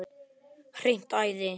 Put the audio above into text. Hreint æði!